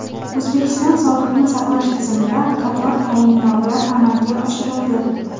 O‘zbekiston sog‘liqni saqlash tizimida qator tayinlovlar amalga oshirildi.